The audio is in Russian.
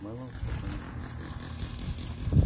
мэллоу спокойно спросил